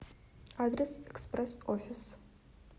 адрес экспресс офис